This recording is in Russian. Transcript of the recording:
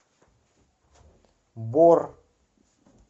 бор